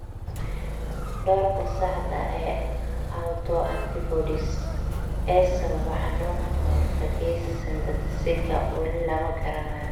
Doorka saxda ah ee autoantibodies ee sababa xanuunka kahortagesa synthetaseka wali lama garanayo.